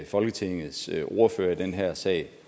folketingets ordførere i den her sag